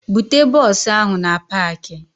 Bute bọọsụ ahụ na paakị!